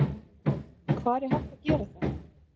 Hvar er hægt að gera það?